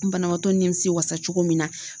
Banabaatɔ nimisi wasa cogo min na.